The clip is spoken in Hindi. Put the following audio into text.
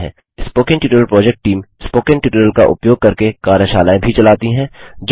spoken tutorial project team spoken tutorial का उपयोग करके कार्यशालाएँ भी चलाती है